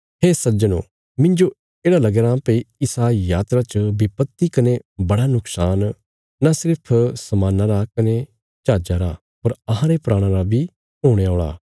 हे सज्जनो मिन्जो येढ़ा लगया राँ भई इसा यात्रा च विपत्ति कने बड़ा नुक्शान नां सिर्फ समाना रा कने जहाजा रा पर अहांरे प्राणा रा बी हुणे औल़ा